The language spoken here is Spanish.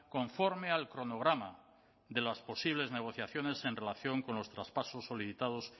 conforme al cronograma de las posibles negociaciones en relación con los traspasos solicitadas